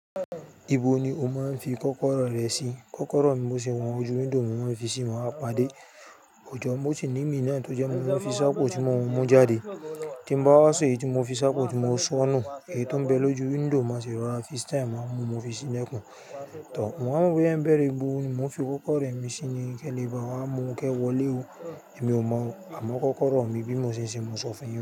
Ibo ni o máa ń fi kọ́kọ́rọ́ rẹ̀ sí? Kọ́kọ́rọ́ mi bó ti wọ́n ju window máa ń fi sí, màá pàdé. Ọjọ́ boh osi nímì náà tó jẹ́ mo máa ń fi sapo tí mo mun jáde. Tí bá wá sì èyí tí mo fi sapo tí mo sọnù, èyí tó ń bẹ lójú window máa sì rọra fi style má mú, mo fi sí ilekún. Tàbí mo wá mọ boya ń bẹ̀rẹ̀, ibo ni wón fi kọ́kọ́rọ́ rẹ̀ mí sí ni, kẹ́ní bá wá mú kẹ́ wọlé o. Èmi ò mọ̀, àmọ́ kọ́kọ́rọ́ mi bí mo ṣe ń ṣe, mo sọ fún ẹ.